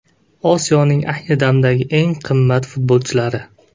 Osiyoning ayni damdagi eng qimmat futbolchilari.